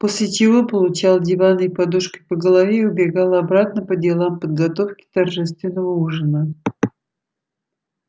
после чего получал диванной подушкой по голове и убегал обратно по делам подготовки торжественного ужина